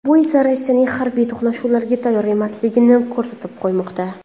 Bu esa Rossiyaning harbiy to‘qnashuvlarga tayyor emasligini ko‘rsatib qo‘ymoqda.